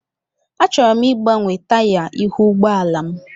Achọrọ m ịgbanwe taya ihu ụgbọ ala m.